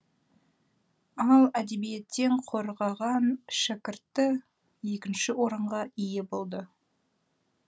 ал әдебиеттен қорғаған шәкірті екінші орынға ие болды